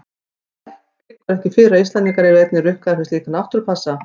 En liggur ekki fyrir að Íslendingar yrðu einnig rukkaðir fyrir slíka náttúrupassa?